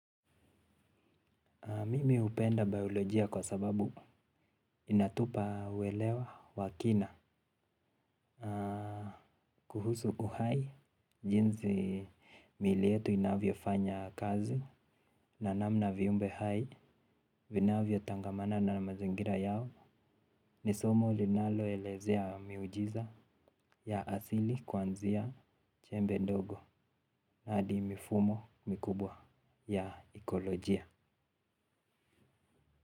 Mimi hupenda biolojia kwa sababu inatupa uwelewa wa kina. Kuhusu uhai, jinsi mili yetu inavyofanya kazi na namna viumbe hai, vinavyotangamana na mazingira yao, ni somo linaloelezea miujiza ya asili kuanzia chembe ndogo hadi mifumo mikubwa ya ekolojia.